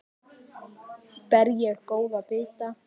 Ber ég góða bita.